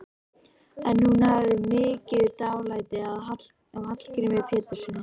En hún hafði mikið dálæti á Hallgrími Péturssyni.